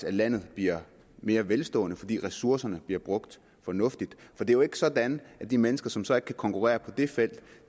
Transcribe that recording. at landet bliver mere velstående fordi ressourcerne bliver brugt fornuftigt for det er jo ikke sådan at de mennesker som så ikke kan konkurrere på det felt